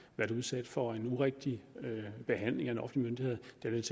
været udsat for en urigtig behandling af en offentlig myndighed